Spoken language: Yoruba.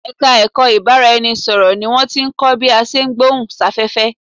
Ẹ̀ka ẹ̀kọ́ ìbárá-ẹni-sọ̀rọ̀ ni wọ́n tí ń kọ́ bí a ṣe ń gbohùn sáfẹ́fẹ́